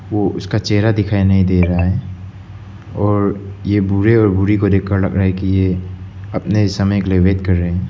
वो उसका चेहरा दिखाई नहीं दे रहा है और ये बूढ़े और बूढ़ी को देखकर लग रहा है कि ये अपने समय का वेट कर रहे हैं।